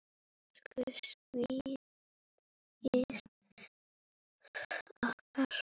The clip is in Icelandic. Elsku Svandís okkar.